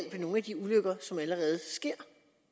nogle af de ulykker som allerede sker